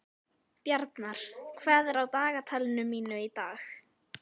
Bjarnar, hvað er á dagatalinu mínu í dag?